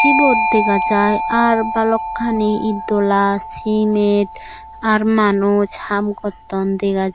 sibot dega jai ar balokkani itdolla cimit ar manuj haam gotton dega jaai.